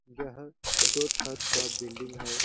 यह दो छत का बिलडिंग है।